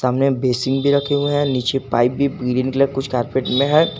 सामने बेसिंग भी रखे हुए हैं नीचे पाइप भी ग्रीन कलर के लिए कुछ कारपेट में है।